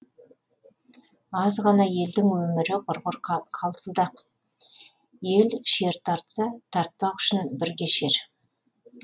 аз ғана елдің өмірі құрғыр қалтылдақ ел шер тартса тартпақ үшін бірге шер